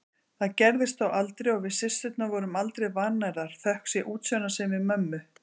Það gerðist þó aldrei og við systurnar vorum aldrei vannærðar, þökk sé útsjónarsemi mömmu.